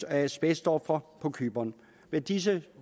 asbestofre på cypern med disse